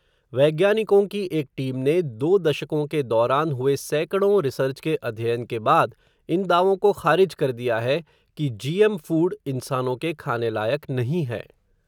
वैज्ञानिकों की एक टीम ने, दो दशकों के दौरान हुए सैकड़ों रिसर्च के अध्ययन के बाद इन दावों को ख़ारिज कर दिया है, कि जीएम फ़ूड, इंसानों के खाने लायक़ नहीं हैं.